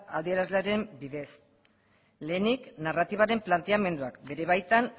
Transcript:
adierazleren bidez lehenik narratibaren planteamenduak bere baitan